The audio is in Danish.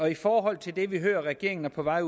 i forhold til det vi hører regeringen er på vej